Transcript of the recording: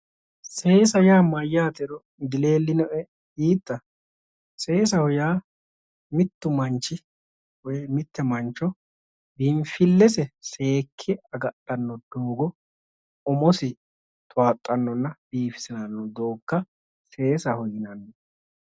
Seesa yaa mayyaatero dileellinoe yiitta? seesaho yaa mittu manchi woyi mitte mancho biinfillese seekke agadhanno doogo umosi towaaxxannonna biifisiranno doogga seesaho yinanni.